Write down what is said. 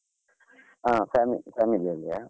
ಹ fami~ family ಅಲ್ಲಿಯ?